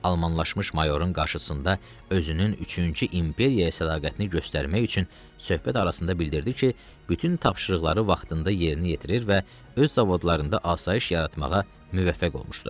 Almanlaşmış mayorun qarşısında özünün üçüncü imperiyaya sədaqətini göstərmək üçün söhbət arasında bildirdi ki, bütün tapşırıqları vaxtında yerinə yetirir və öz zavodlarında asayiş yaratmağa müvəffəq olmuşdu.